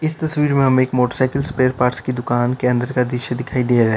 इस तस्वीर में हमें एक मोटरसाइकिल स्पेयर पार्ट्स की दुकान के अंदर का दृश्य दिखाई दे रहा है।